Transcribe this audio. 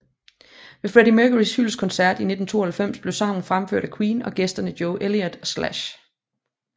Ved Freddie Mercurys hyldestkoncert i 1992 blev sangen fremført af Queen og gæsterne Joe Elliot og Slash